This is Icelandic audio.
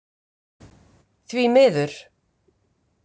Því miður.